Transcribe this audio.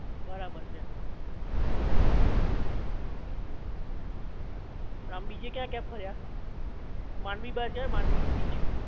બરાબર છે આમ બીજે કયા કયા? ફર્યા માંડવી બાજુ આયા માંડવી બીચ